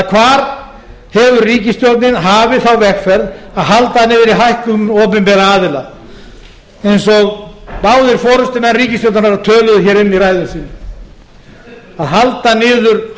hvar hefur ríkisstjórnin hafið þá vegferð að halda niðri hækkunum opinberra aðila eins og báðir forustumenn ríkisstjórnarinnar töluðu um í ræðum sínum að halda niðri